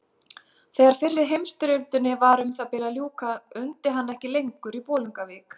Þegar fyrri heimsstyrjöldinni var um það bil að ljúka undi hann ekki lengur í Bolungarvík.